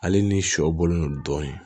Ale ni shɔ bɔlen don dɔɔni